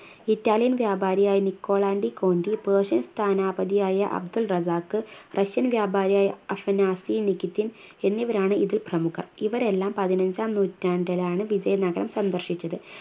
Italian വ്യാപാരിയായ Nicolo de Conti Persian സ്ഥാനപതിയായ Abdur Razzaq Russian വ്യാപാരിയായ അഫ്‌നാസി നികിതിൻ എന്നിവരാണ് ഇതിൽ പ്രമുഖർ ഇവരെല്ലാം പതിനഞ്ചാം നൂറ്റാണ്ടിലാണ് വിജയ നഗരം സന്ദർശിച്ചത്